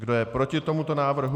Kdo je proti tomuto návrhu?